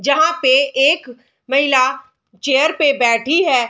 जहाँ पे एक महिला चेयर पे बैठी है।